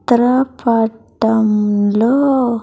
చిత్ర పటం లో.